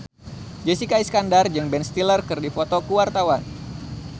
Jessica Iskandar jeung Ben Stiller keur dipoto ku wartawan